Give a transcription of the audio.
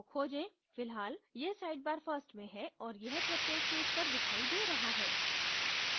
फिलहाल यह sidebar first में है और यह प्रत्येक पेज पर दिखाई दे रहा है